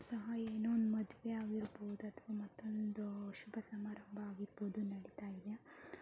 So ಇಲ್ಲಿ ನೋಡಬೋದು ಯಾವುದೊ ಒಂದು ಶುಭ ಸಮಾರಂಭ ಯಾವ್ದೋ ನಡಿತಾ ಇದೆ.